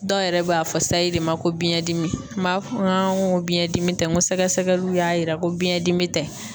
Dɔw yɛrɛ b'a fɔ sayi de ma ko biɲɛ dimi n b'a fɔ n ko biɲɛ dimi tɛ n ko sɛgɛsɛgɛliw y'a yira ko biyɛn dimi tɛ.